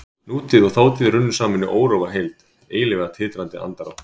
Nútíð og þátíð runnu saman í órofa heild, eilífa titrandi andrá.